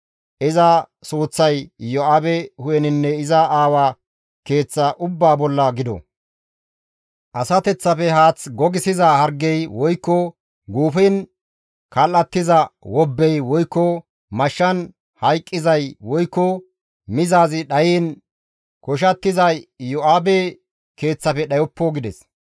Iza suuththay Iyo7aabe hu7eninne iza aawa keeththa ubbaa bolla gido; asateththafe haaththi gogissiza hargey woykko guufen kal7atiza wobbey woykko mashshan hayqqizay woykko mizaazi dhayiin koshattizay Iyo7aabe keeththafe dhayoppo» gides.